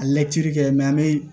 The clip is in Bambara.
A layɛli kɛ an bɛ